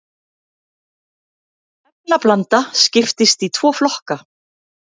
efnablanda skiptist í tvo flokka